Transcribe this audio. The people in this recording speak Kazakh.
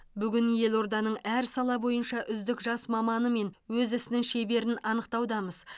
бүгін елорданың әр сала бойынша үздік жас маманы мен өз ісінің шеберін анықтаудамыз